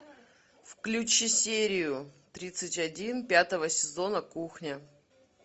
включи серию тридцать один пятого сезона кухня